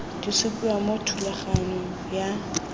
di supiwa mo thulaganyong ya